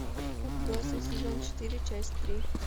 отбросы сезон четыре часть три